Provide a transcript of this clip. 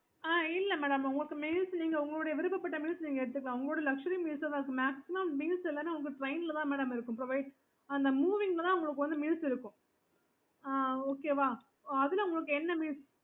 okaytrains trains